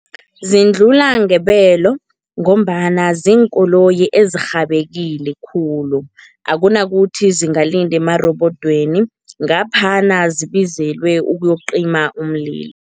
Zindlula ngebelo ngombana ziinkoloyi ezirhabakile khulu. Akunakuthi zingalinda emarobodweni, ngaphana zibizelwe ukuyokucima umlilo.